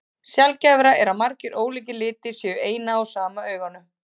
Sjaldgæfara er að margir ólíkir litir séu í eina og sama auganu.